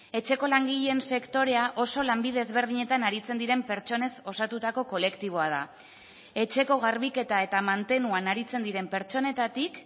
etxeko langileen sektorea oso lanbide ezberdinetan aritzen diren pertsonez osatutako kolektiboa da etxeko garbiketa eta mantenuan aritzen diren pertsonetatik